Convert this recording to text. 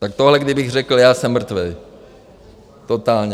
Tak tohle kdybych řekl já, jsem mrtvej, totálně.